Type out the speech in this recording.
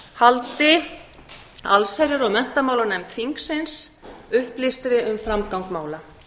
haldi allsherjar og menntamálanefnd þingsins upplýstri um framgang mála